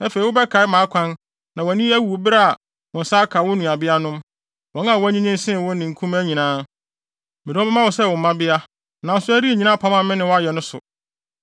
Afei wobɛkae wʼakwan na wʼani awu bere a wo nsa aka wo nuabeanom; wɔn a wɔanyinyin sen wo ne nkumaa nyinaa. Mede wɔn bɛma wo sɛ wo mmabea, nanso ɛrennyina apam a me ne wo ayɛ no so.